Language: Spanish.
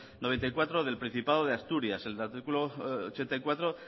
noventa y cuatro del principado de asturias el artículo ochenta y cuatro